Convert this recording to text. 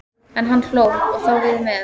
En hann hló, og þá við með.